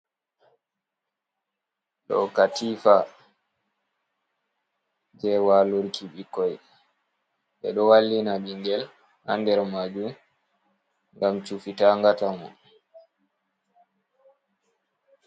Ɗo katifa je walurki bikkoi. be ɗo wallina bingel han ɗer majum gam chufi ta ngata mo.